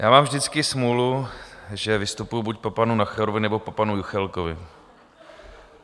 Já mám vždycky smůlu, že vystupuji buď po panu Nacherovi, nebo po panu Juchelkovi.